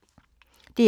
DR1